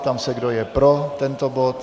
Ptám se, kdo je pro tento bod.